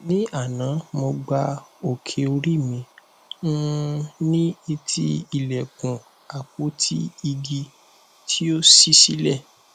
ní àná mo gbá òkè orí mi um ní etí ilẹkùn àpótí igi tí ó ṣí sílẹ